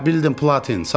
Hə, bildim, Platin.